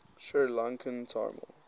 sri lankan tamil